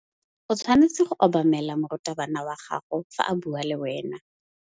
O tshwanetse go obamela morutabana wa gago fa a bua le wena.